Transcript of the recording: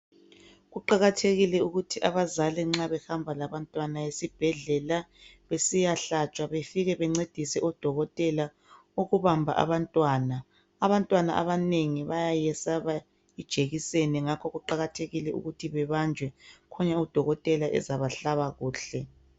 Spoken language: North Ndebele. Kuqakathekile ukuthi abazali nxa behamba labantwana esibhedlela besiyahlatshwa befike bencedise odokotela ukubamba abantwana, abantwana abanengi bayayiyesaba ijekiseni ngakho kuqakathekile ukuthi bebanjwe, Khona odokotela bezabahlaba kuhle.